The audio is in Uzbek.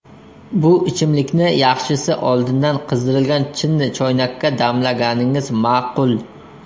Bu ichimlikni yaxshisi oldindan qizdirilgan chinni choynakka damlaganingiz ma’qul.